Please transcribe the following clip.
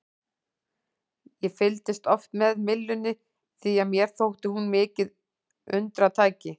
Ég fylgdist oft með myllunni því að mér þótti hún mikið undratæki.